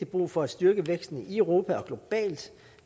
brug for at styrke væksten i europa og globalt